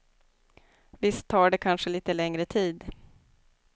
Visst tar det kanske lite längre tid.